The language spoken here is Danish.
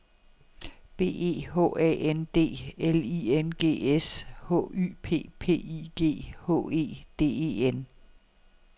B E H A N D L I N G S H Y P P I G H E D E N